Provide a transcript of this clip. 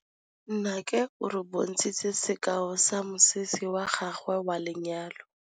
Nnake o re bontshitse sekaô sa mosese wa gagwe wa lenyalo.